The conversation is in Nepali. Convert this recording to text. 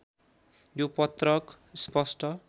यो पत्रक स्पष्ट